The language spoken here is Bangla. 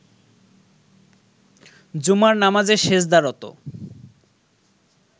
জুমার নামাজে সেজদারত